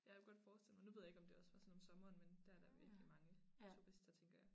Jeg kunne godt forestille mig nu ved jeg ikke om det også vare sådan om sommeren men dér er der virkelig mange turister tænker jeg